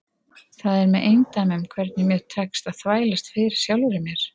Það er með eindæmum hvernig mér tekst að þvælast fyrir sjálfri mér.